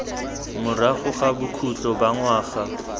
morago ga bokhutlo ba ngwaga